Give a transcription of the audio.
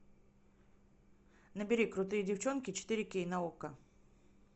набери крутые девчонки четыре кей на окко